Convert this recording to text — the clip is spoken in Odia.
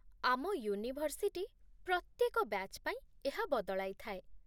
ଆମ ୟୁନିଭର୍ସିଟି ପ୍ରତ୍ୟେକ ବ୍ୟାଚ୍ ପାଇଁ ଏହା ବଦଳାଇଥାଏ